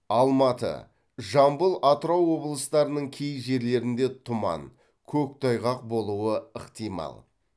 алматы жамбыл атырау облыстарының кей жерлеріңде тұман көктайғақ болуы ықтимал